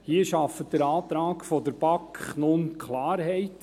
Hier schafft der Antrag der BaK nun Klarheit.